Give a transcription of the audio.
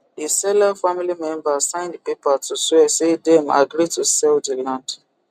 the seller family members sign the paper to swear say dem agree to sell the land